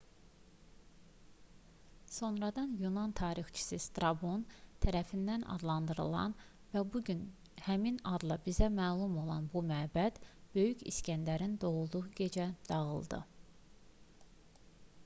sonradan yunan tarixçisi strabon tərəfindən adlandırılan və bu gün həmin adla bizə məlum olan bu məbəd böyük i̇skəndərin doğulduğu gecə dağıdıldı